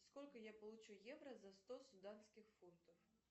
сколько я получу евро за сто суданских фунтов